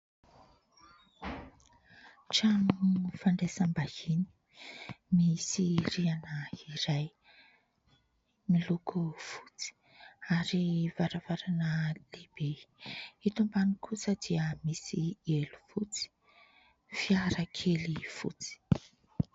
Trano fandraisam-bahiny misy rihana iray miloko fotsy ary varavarana lehibe. Eto ambany kosa dia misy elo fotsy, fiara kely fotsy.